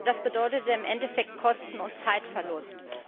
Das bedeutete im Endeffekt Kosten und Zeitverlust.